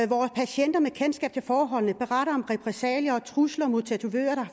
og patienter med kendskab til forholdene beretter om repressalier og trusler mod tatovører